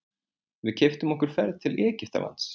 Við keyptum okkur ferð til Egyptalands.